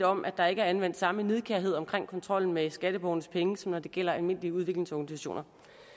om at der ikke er anvendt samme nidkærhed omkring kontrollen med skatteborgernes penge som når det gælder almindelige udviklingsorganisationer